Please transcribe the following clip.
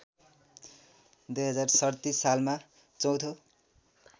२०३७ सालमा चौथो